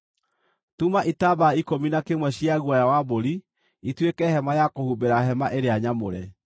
“Tuma itambaya ikũmi na kĩmwe cia guoya wa mbũri ituĩke hema ya kũhumbĩra hema ĩrĩa nyamũre.